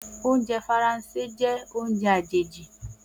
Oúnjẹ Faransé jẹ́ oúnjẹ àjèjì.